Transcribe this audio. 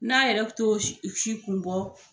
N'a yɛrɛ t'o si o si kun bɔ